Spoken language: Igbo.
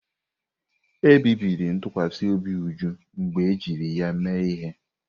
Ebibiri ntụkwasị obi Uju mgbe ejiri ya mee ihe.